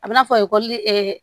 A bɛ n'a fɔ ekɔli